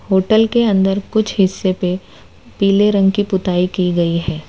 Hotel के अंदर कुछ हिस्से पे पीले रंग की पुताई की गई है।